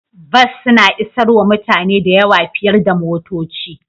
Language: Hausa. Bas suna isarwa mutane da yawa fiyar da motoci.